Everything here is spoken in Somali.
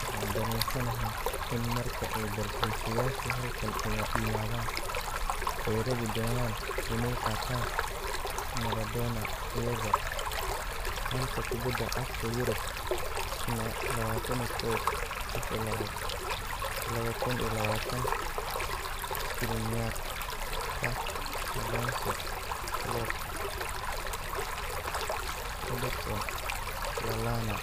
Waxaan dareensanahay in marka ay dalxiisayaashu halkan yimaadaan ay rabi doonaan inay qaataan 'Maradona' iyaga. Xanta Kubadda Cagta Yurub Jimce 21.02.2020: Skriniar, Tah, Alonso, Klopp, Hodgson, Lallana